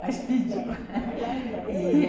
Mas pediu, e...